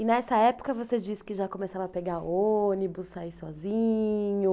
E nessa época você disse que já começava a pegar ônibus, sair sozinho.